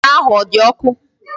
Akara ahụ ọ dị ọkụ?